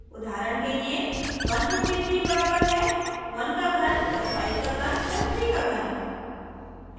उदाहरण के लिए 153 बराबर है 1 का घन + 5 का घन + 3 का घन